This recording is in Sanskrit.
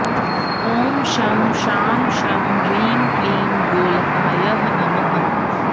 ॐ शं शां षं ह्रीं क्लीं गोलकाय नमः